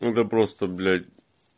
это просто блять